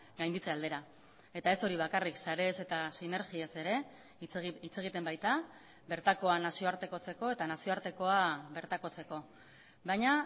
gainditze aldera eta ez hori bakarrik sarez eta sinergiaz ere hitz egiten baita bertakoa nazioartekotzeko eta nazioartekoa bertakotzeko baina